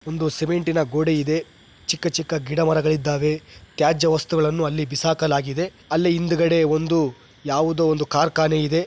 ಒಂದು ಸಿಮೆಂಟ್ ನ ಗೋಡೆ ಇದೆ ಚಿಕ್ಕ ಚಿಕ್ಕ ಗಿಡ ಮರಗಳು ಇದ್ದಾವೆ. ತ್ಯಾಜ್ಯ ವಸ್ತುಗಳನ್ನು ಅಲ್ಲಿ ಬಿಸಾಕಲಾಗಿದೆ. ಅಲ್ಲಿ ಹಿಂದುಗಡೆ ಒಂದು ಯಾವುದೋ ಒಂದು ಕಾರ್ಖಾನೆ ಇದೆ.